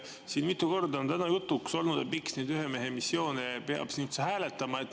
Siin on mitu korda täna jutuks olnud, miks neid ühemehemissioone peab siin üldse hääletama.